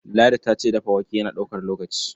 Ladi ta ce dafa wake yana ɗaukar lokaci.